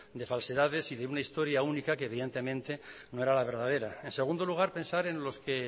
de falsedades y de una historia única que evidentemente no era la verdadera en segundo lugar pensar en los que